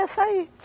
É, saí.